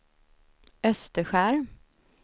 Österskär